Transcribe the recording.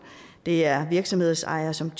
det er virksomhedsejere som